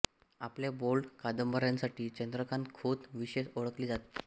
आपल्या बोल्ड कादंबऱ्यांसाठी चंद्रकांत खोत विशेष ओळखले जात